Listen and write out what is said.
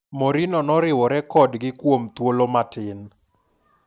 Mourinho noriwore kodgi kuom thuolo matin.